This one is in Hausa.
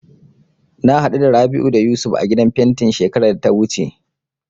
Na haɗu da Rabi'u da Yusuf a gidan fentin shekarar da ta wuce.